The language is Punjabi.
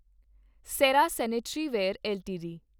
Cera sanitaryware LTD